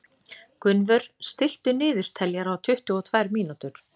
Gunnvör, stilltu niðurteljara á tuttugu og tvær mínútur.